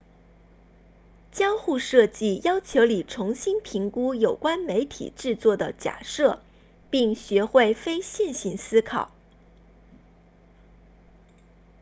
交互设计要求你重新评估有关媒体制作的假设并学会非线性思考